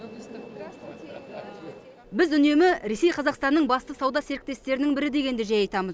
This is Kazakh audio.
біз үнемі ресей қазақстанның басты сауда серіктестерінің бірі дегенді жиі айтамыз